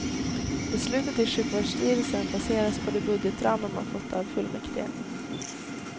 Beslutet i sjukvårdsstyrelsen baseras på de budgetramar man fått av fullmäktige.